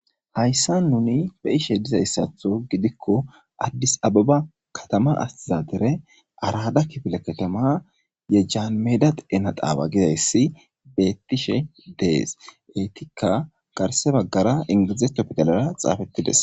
Hayssa nuni be ishe dizayssatho gidikko addis ababa katama astizadere arada kifile katama yejjaanmeda dena daawa gidayssi beettishe dees eetikka garse baggara ingiizetto pidalara xaafettides